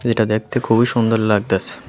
যেটা দেখতে খুবই সুন্দর লাগতাসে।